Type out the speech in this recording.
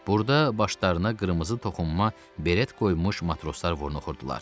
Burda başlarına qırmızı toxunma beret qoymuş matroslar burnu oxurdular.